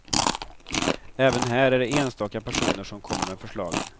Även här är det enstaka personer som kommer med förslagen.